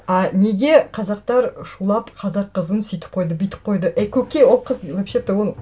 а неге қазақтар шулап қазақ қызын сөйтіп қойды бүйтіп қойды ей көке ол қыз вообще то ол